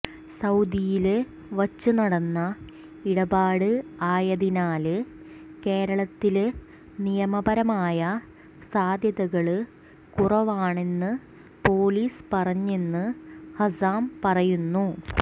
സൌദിയില് വച്ച് നടന്ന ഇടപാട് ആയതിനാല് കേരളത്തില് നിമയപരമായ സാധ്യതകള് കുറവാണെന്ന് പൊലിസ് പറഞ്ഞെന്ന് ഹസാം പറയുന്നു